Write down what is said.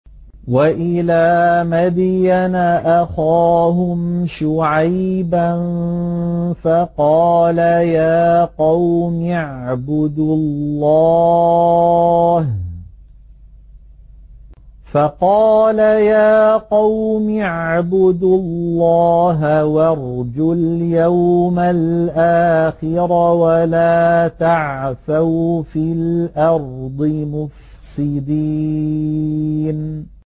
وَإِلَىٰ مَدْيَنَ أَخَاهُمْ شُعَيْبًا فَقَالَ يَا قَوْمِ اعْبُدُوا اللَّهَ وَارْجُوا الْيَوْمَ الْآخِرَ وَلَا تَعْثَوْا فِي الْأَرْضِ مُفْسِدِينَ